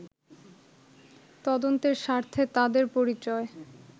তদন্তের স্বার্থে তাদের পরিচয়